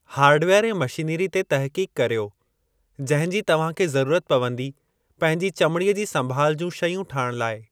Hardware ऐं machinery ते तहक़ीक़ कर्यो जंहिं जी तव्हां खे ज़रूरत पवंदी पंहिंजी चमिड़ीअ जी संभाल जूं शयूं ठाहिण लाइ।